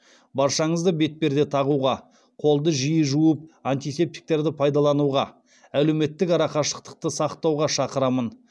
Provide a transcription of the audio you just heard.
баршаңызды бетперде тағуға қолды жиі жуып антисептиктерді пайдалануға әлеуметтік арақашықтықты сақтауға шақырамын